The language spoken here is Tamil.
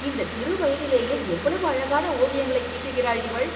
இந்த சிறுவயதிலேயே எவ்வளவு அழகான ஓவியங்களை தீட்டுகிறாள் இவள்